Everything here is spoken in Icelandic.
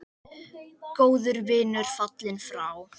Góður vinur fallinn frá.